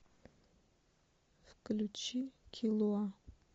включи киллуа